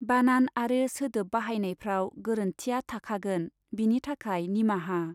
बानान आरो सोदोब बाहायनाइफ्राव गोरोन्थिया थाखागोन, बिनि थाखाय निमाहा।